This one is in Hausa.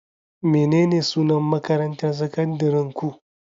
Menene sunan makarantarku sakandarenku?